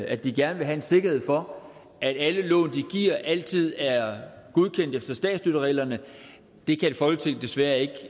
at de gerne vil have en sikkerhed for at alle lån de giver altid er godkendt efter statsstøttereglerne et folketing kan desværre ikke